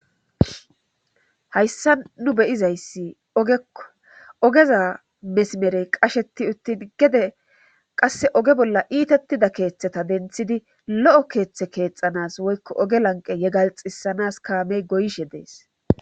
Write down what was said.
Hayssa nu beyizayssi ogeo ogeza mesimerey qasheti uttin gede qasse oge bolla iitettida keeththeta denthidi lo'o keeththe keexxanas woykko oge lanqe yegalxisanas kaamey goyshe dees.